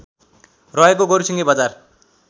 रहेको गोरुसिङे बजार